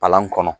Palan kɔnɔ